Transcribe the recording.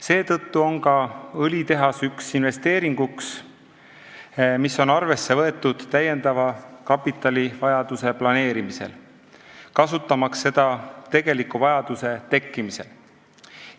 Seetõttu on ka õlitehas üks investeeringuid, mis on arvesse võetud täiendava kapitalivajaduse planeerimisel, kasutamaks seda tegeliku vajaduse tekkimisel.